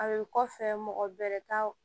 A bɛ kɔfɛ mɔgɔ wɛrɛ ka